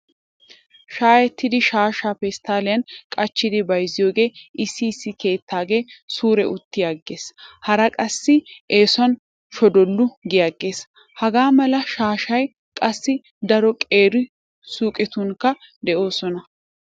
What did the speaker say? Shaayettida shaashshaa pesttalliyan qachchidi bayzziyoogee issi issi keettaage suure uttiyaagee haray qassi eesuwan shonddollu giyaaggees. Hagaa mala shaashshay qassi daro qeeri suyqetunkka de'oosona.